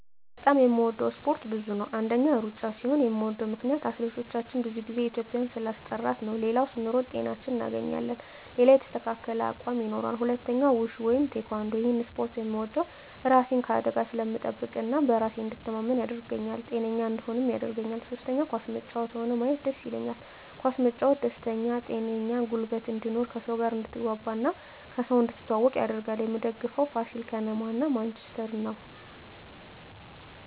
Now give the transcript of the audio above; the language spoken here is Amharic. በጣም የምወደው እስፓርት ብዙ ነው አንደኛ እሩጫ ሲሆን ምወደው ምክነያት አትሌቶቻችን ብዙ ግዜ ኢትዩጵያን ስላስጠራት ሌላው ስንሮጥ ጤናችን እናገኛለን ሌላው የተስተካከለ አቅም ይኖራል ሁለተኛው ውሹ ወይም ቲካንዶ እሄን እስፖርት ምወደው እራሴን ከአደጋ ስለምጠብቅ እና በራሴ እንድተማመን ያረገኛል ጤነኛ እንድሆንም ያረገኛል ሶስተኛ ኳስ መጫወት ሆነ ማየት ደስ ይለኛል ኳስ መጫወት ደስተኛ ጤነኛ ጉልበት እንድኖር ከሰው ጋር አድትግባባ እና ከሰው እንድትተዋወቅ ያረጋል ምደግፈው ፋሲል ከነማ እና ማንችስተር ነው